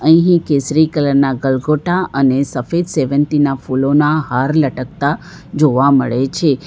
અહી કેસરી કલર ના કલગોટા અને સફેદ સેવંતીના ફૂલોના હાર લટકતા જોવા મળે છે.